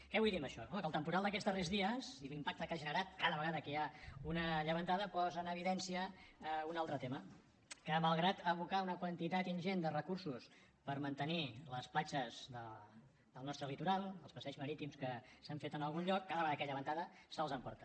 què vull dir amb això home que el temporal d’aquests darrers dies i l’impacte que ha generat cada vegada que hi ha una llevantada posa en evidència un altre tema que malgrat abocar una quantitat ingent de recursos per mantenir les platges del nostre litoral els passeigs marítims que s’han fet en algun lloc cada vegada que hi ha llevantada se’ls emporta